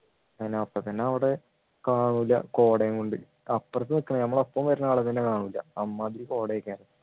അതിനപ്പോ തന്നെ അവിടെ കാണൂല്ല കോടയും കൊണ്ട് അപ്പർത്തു നിക്കണ ഞമ്മളെ ഒപ്പം വരുന്ന ആളെ തന്നെ കാണൂല്ല അമ്മാതിരി കോടയൊക്കെ